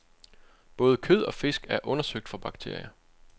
Både kød og fisk er undersøgt for bakterier.